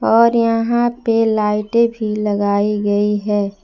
और यहां पे लाइटें भी लगाई गई है।